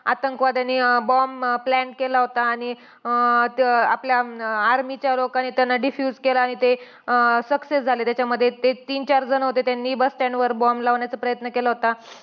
आतंकवाद्यांनी अं bomb plan केला होता. आणि अं आपल्या army च्या लोकांनी त्याला diffuse केला आणि ते अं success झाले त्याच्यामध्ये. ते तीन चार जण होते त्यांनी bus stand वर bomb लावण्याचा प्रयत्न केला होता.